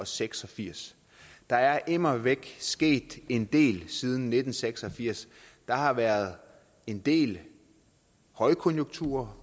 seks og firs der er immer væk sket en del siden nitten seks og firs der har været en del højkonjunkturer